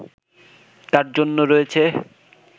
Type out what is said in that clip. তার জন্য রয়েছে